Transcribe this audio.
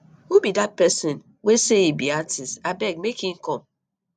who be dat person wey say he be artist abeg make he come